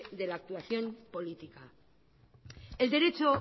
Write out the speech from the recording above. de la actuación política el derecho